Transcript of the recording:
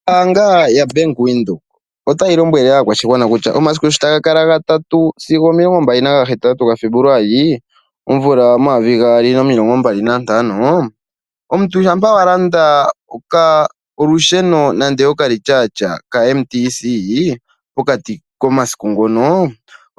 Ombaanga yaBank Windhoek otayi lombwele aakwashigwana kutya omasiku sho taga ka kala ga 3 sigo 28 ga Febuluali 2025 omuntu shampa wa landa okalityatya nenge olusheno pokati komasiku ngono